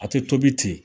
A tɛ tobi ten